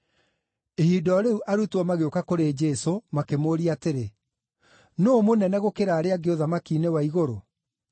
Ihinda o rĩu arutwo magĩũka kũrĩ Jesũ, makĩmũũria atĩrĩ, “Nũũ mũnene gũkĩra arĩa angĩ ũthamaki-inĩ wa igũrũ?”